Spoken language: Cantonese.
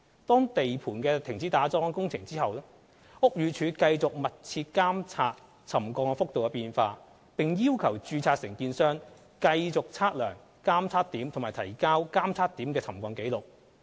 當地盤停止打樁工程後，屋宇署繼續密切監察沉降幅度的變化，並要求註冊承建商繼續測量監測點及提交監測點的沉降紀錄。